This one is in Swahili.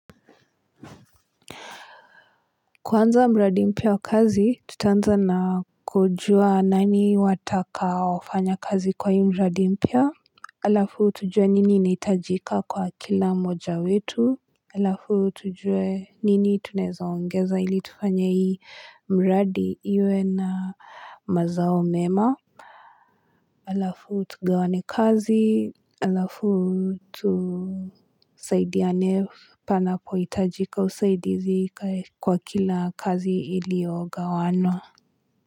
Kuanza mradi mpya wakazi, tutanza na kujua nani watakao fanya kazi kwa hii mradi mpya. Alafu tujue nini neitajika kwa kila mmoja wetu. Alafu tujue nini tunezaongeza ili tufanya hii mradi iwe na mazao mema. Alafu tugawane kazi, alafu tusaidi ya nef, panapo itajika usaidizi kwa kila kazi ilio gawano.